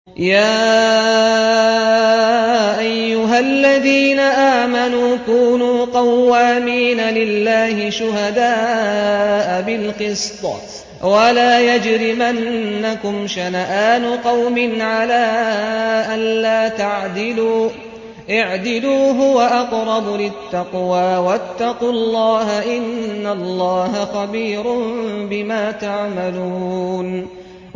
يَا أَيُّهَا الَّذِينَ آمَنُوا كُونُوا قَوَّامِينَ لِلَّهِ شُهَدَاءَ بِالْقِسْطِ ۖ وَلَا يَجْرِمَنَّكُمْ شَنَآنُ قَوْمٍ عَلَىٰ أَلَّا تَعْدِلُوا ۚ اعْدِلُوا هُوَ أَقْرَبُ لِلتَّقْوَىٰ ۖ وَاتَّقُوا اللَّهَ ۚ إِنَّ اللَّهَ خَبِيرٌ بِمَا تَعْمَلُونَ